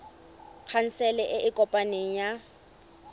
khansele e e kopaneng ya